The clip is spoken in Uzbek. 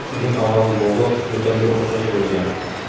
Uning ovozi bo‘g‘iq, yo‘talga o‘xshash bo‘lgan.